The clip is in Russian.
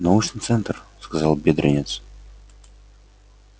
научный центр сказал бедренец